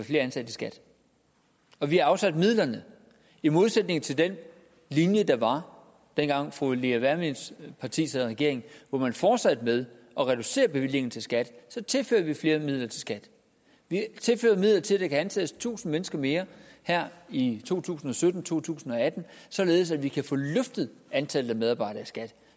flere ansatte i skat og vi har afsat midlerne i modsætning til den linje der var dengang fru lea wermelins parti sad i regering hvor man fortsatte med at reducere bevillingen til skat så tilfører vi flere midler til skat vi tilfører midler til at der kan ansættes tusind mennesker mere her i to tusind og sytten og to tusind og atten således at vi kan få løftet antallet af medarbejdere i skat